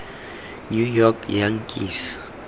new york yankees